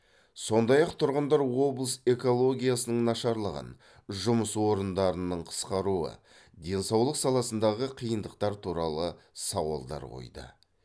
сондай ақ тұрғындар облыс экологиясының нашарлығын жұмыс орындарының қысқаруы денсаулық саласындағы қиындықтар туралы сауалдар қойды